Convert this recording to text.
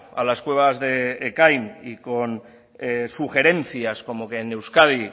a las cuevas de ekain y con sugerencias como que en euskadi